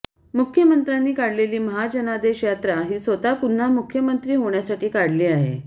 मुख्यमंत्र्यांनी काढलेली महाजनादेश यात्रा ही स्वतः पुन्हा मुख्यमंत्री होण्यासाठी काढली आहे